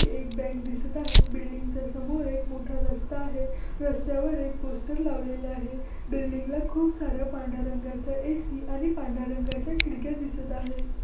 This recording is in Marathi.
ही एक बँक दिसत आहे. बिल्डिंग च्या समोर एक मोठा रस्ता आहे. रस्त्यावर एक पोस्टर लावलेले आहे. बिल्डिंग ला खूप सारं पांढर्‍या रंगाचं ए.सी. आणि पांढर्‍या रंगाच्या खिडक्या दिसत आहे.